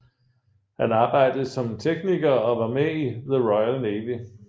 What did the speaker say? Han arbejdede som tekniker og var med i The Royal Navy